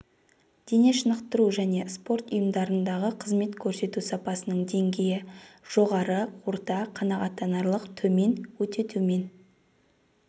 дене шынықтыру және спорт ұйымдарындағы қызмет көрсету сапасының деңгейі жоғары орта қанағаттанарлық төмен өте төмен